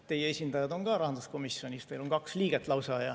Teie esindajad on ka rahanduskomisjonis, teil on kaks liiget lausa.